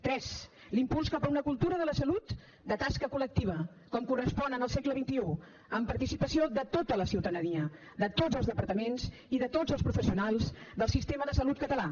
tres l’impuls cap a una cultura de la salut de tasca col·lectiva com correspon al segle xxi amb participació de tota la ciutadania de tots els departaments i de tots els professionals del sistema de salut català